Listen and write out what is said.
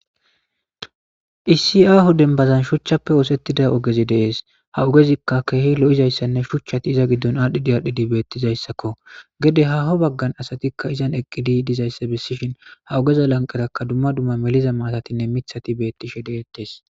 issi aaho denbazan shuchchappe oosettida ogezi deees ha ogezikka keehi lo'izayssanne shuchchati iza giddon aadhdhidi aadhdhidi beettizayssakko. Gede haaho baggan asatikka izan eqqidi dizayssa bessishin ha ogeza lanqerakka dumma dumma meliza maatatinne mithati bettishe de7ettees